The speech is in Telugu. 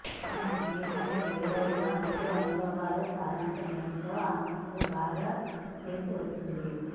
తన జీవితంలో ఎదురైన రెండు అనుభవాల సారాంశమేమిటో ఆమెకు బాగా తెలిసివచ్చింది